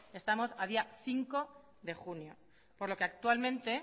estamos a día cinco de junio por lo que actualmente